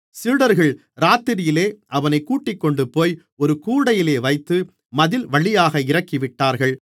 சீடர்கள் இராத்திரியிலே அவனைக் கூட்டிக்கொண்டுபோய் ஒரு கூடையிலே வைத்து மதில்வழியாக இறக்கிவிட்டார்கள்